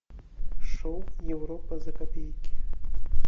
шоу европа за копейки